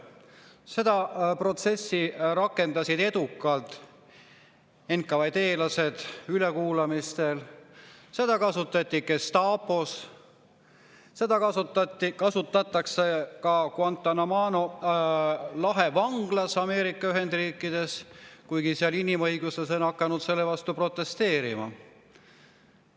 Seda protsessi rakendasid edukalt NKVD‑lased ülekuulamistel, seda kasutati Gestapos, seda kasutatakse ka Guantánamo lahe vanglas Ameerika Ühendriikides, kuigi seal on inimõiguslased hakanud selle vastu protesteerima.